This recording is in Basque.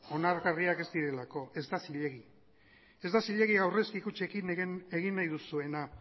onargarriak ez direlako ez da zilegi ez da zilegi aurrezki kutxekin egin nahi duzuena